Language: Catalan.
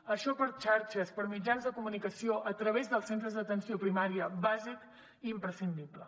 i això per xarxes per mitjans de comunicació a través dels centres d’atenció primària bàsic i imprescindible